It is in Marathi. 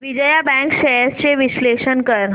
विजया बँक शेअर्स चे विश्लेषण कर